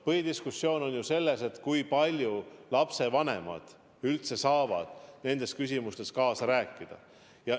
Põhidiskussioon on ju selle üles, kui palju lapsevanemad üldse saavad nendes küsimustes kaasa rääkida.